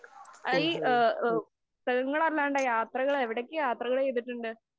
യാത്രകള്‍ എവിടൊക്കെ യാത്രകള്‍ ചെയ്തിട്ടുണ്ട്?